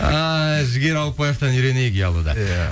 ай жігер ауытпаевтан үйренейік ұялуды иә